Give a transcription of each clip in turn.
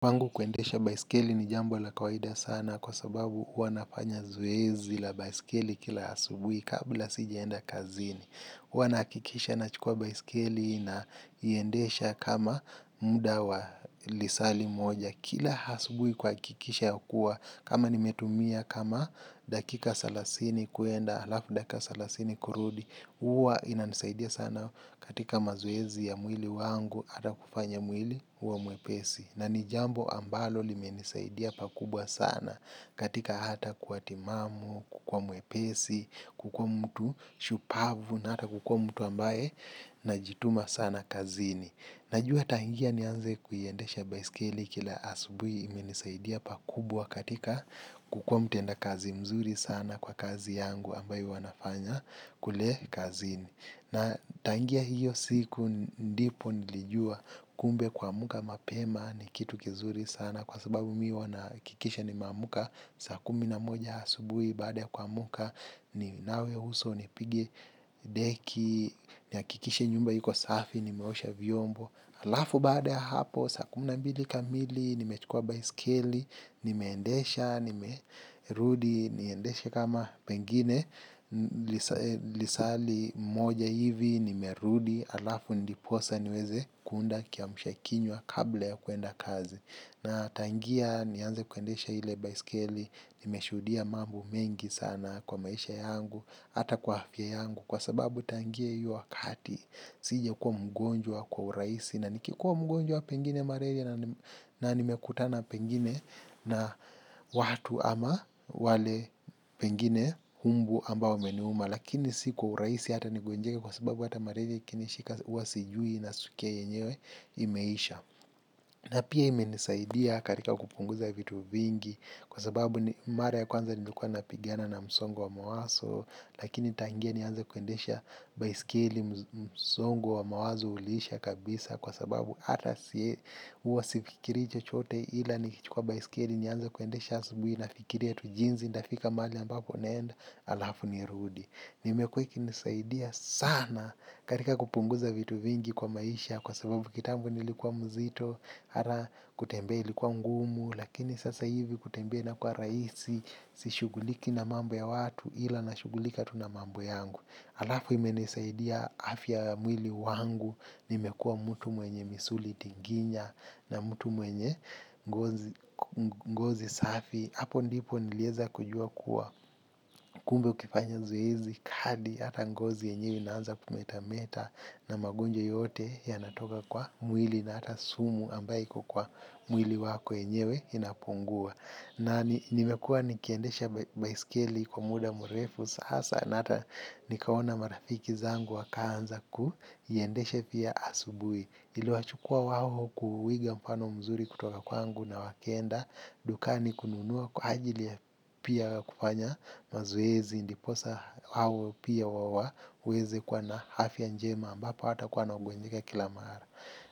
Kwangu kuendesha baiskeli ni jambo la kawaida sana kwa sababu huwa nafanya zoezi la baiskeli kila asubuhi kabla sijaenda kazini. Wana nahakikisha nachukua baiskeli naiendesha kama muda wa lisali moja kila asubuhi kuhakikisha yakuwa kama nimetumia kama dakika salasini kuenda alafu dakika salasini kurudi. Huwa inanisaidia sana katika mazoezi ya mwili wangu ata kufanya mwili uwe mwepesi na nijambo ambalo limenisaidia pakubwa sana katika hata kuwa timamu, kukuwa mwepesi, kukuwa mtu shupavu na hata kukuwa mtu ambaye na jituma sana kazini najua taingia nianze kuiendesha baiskeli kila asubui imenisaidia pakubwa katika kukua mtend kazi mzuri sana kwa kazi yangu ambayo wanafanya kule kazini na tangia hiyo siku ndipo nilijua kumbe kuamuka mapema ni kitu kizuri sana kwa sababu mi huwa nahakikisha nimeamka saa kumi na moja asubuhi baada kwa kuamuka ninawe uso ni pigi deki nihakikisha nyumba hiko safi nimeosha vyombo alafu baada hapo saa kumi na mbili kamili nimechukua baiskeli nimeendesha. Nimerudi niendeshe kama pengine lisali moja hivi nime rudi alafu ndiposa niweze kuunda kiamshakinywa kabla ya kuenda kazi. Na tangia nianze kuendesha ile baiskeli nimeshudia mambu mengi sana kwa maisha yangu ata kwa hafya yangu. Kwa sababu tangia hiyo wakati sijakuwa mgonjwa kwa urahisi na nikikuwa mgonjwa pengine malaria na nime kutana pengine na watu ama wale pengine mbu ambao umeniuma lakini si kwa urahisi hata nigonjeke kwa sababu hata malaria ikini shika huwasijui na naskia keyenyewe imeisha na pia imenisaidia katika kupunguza vitu vingi kwa sababu mara ya kwanza nilukua napigina na msongo wa mawazo lakini tangia niannze kuendesha baiskeli msongo wa mawazo uliisha kabisa kwa sababu ata si huwa sifikirii chochote ila ni kichukua baiskeli nianze kuende shansibu na fikiria tu jinzi nitafika mali ambapo naenda alafu nirudi na imekuwa ikinisaidia sana katika kupunguza vitu vingi kwa maisha kwa sababu kitambu nilikuwa mzito ata kutembea ilikuwa mgumu lakini sasa hivi kutembea inakuwa rahisi sishuguliki na mambo ya watu ila nashugulika tu na mambo yangu. Alafu imenisaidia afya mwili wangu, nimekuwa mtu mwenye misuli tinginya na mutu mwenye ngozi safi. Hapo ndipo niliezakujua kuwa kumbe ukifanya zoezi, kadi, hata ngozi enyewe inaanza kumetameta na magonjwa yote yanatoka kwa mwili na hata sumu ambao iko kwa mwili wako enyewe inapungua. Na nimekuwa nikiendesha baiskeli kwa muda murefu, sasa na ata nikawona marafiki zangu wakaanza kuiendeshanpia asubuhi. Ili wachukua waho kuwiga mpano mzuri kutoka kwanngu na wakienda, dukani kununua kwa ajili ya pia kufanya mazoezi, ndiposa hao pia waweze kwa na afya njema ambapo hawatakuwa wanagonjeka kila mara.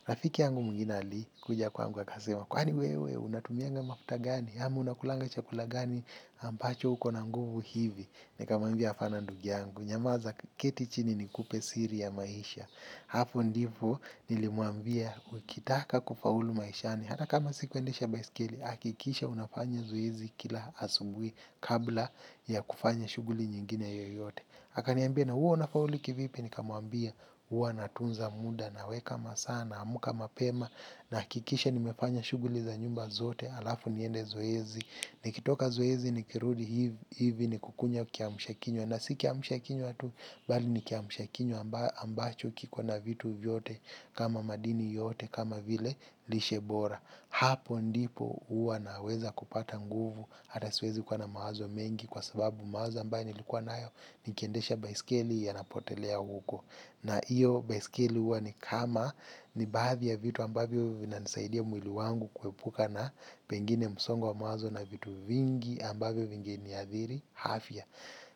Rafiki yangu mwingine alikuja kwangu akasema kwani wewe unatumianga mafuta gani ama unakulanga chakula gani ambacho uko na nguvu hivi. Nikamwambia hapana ndugu yangu. Nyamaza keti chini nikupe siri ya maisha. Hapo ndipo nilimwambia ukitaka kufaulu maishani hata kama sikuendesha baiskeli. Hakikisha unafanya zoezi kila asubuhi. Kabla ya kufanya shughuli nyingine yoyote. Akaniambia na huwa unafaulu kivipi. Nikamwambia huwa natunza muda. Naweka masaa naamka mapema. Nakikisha nimefanya shuguli za nyumba zote. Alafu niende zoezi. Nikitoka zoezi nikirudi hivi. Nikukunywa kiamshakinywa na si kiamshakinywa tu. Bali nikiamshakinywa ambacho kiko na vitu vyote. Kama madini yote kama vile lishe bora. Hapo ndipo huwa naweza kupata nguvu. Hata siwezi kuwa na mawazo mengi. Kwa sababu mawazo ambayo nilikuwa nayo. Nikiendesha baiskeli yanapotelea huko. Na hiyo baisikeli huwa ni kama ni baadhi ya vitu ambavyo vinasaidia mwili wangu kuepuka na pengine msongo wa mawazo na vitu vingi ambavyo vingeniadhiri afya.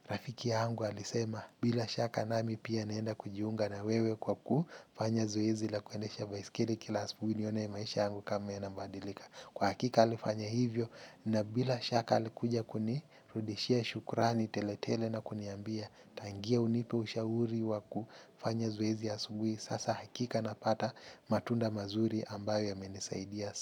Rafiki yangu alisema bila shaka nami pia naenda kujiunga na wewe kwa kufanya zoezi la kuendesha baisikeli kila asubuhi nione maisha yangu kama inabadilika. Kwa hakika alifanya hivyo na bila shaka alikuja kunirudishia shukurani teletele na kuniambia tangu unipe ushauri wa kufanya zoezi asubuhi. Sasa hakika napata matunda mazuri ambayo yamenisaidia.